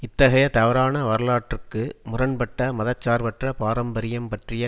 இத்தகைய தவறான வரலாற்றுக்கு முரண் பட்ட மத சார்பற்ற பாரம்பரியம் பற்றிய